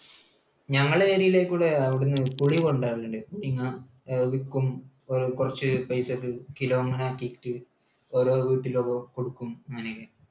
ഞങ്ങളുടെ area യിലേക്ക് അവിടെ നിന്ന് പുളി കൊണ്ടു വരാറുണ്ട്. പുളിങ്ങ, അത് വിൽക്കും കുറച്ചുപേർക്ക്, കിലോ അങ്ങനെ ആക്കിയിട്ട്. ഓരോ വീട്ടിലൊക്കെ കൊടുക്കും അങ്ങനെയൊക്കെ.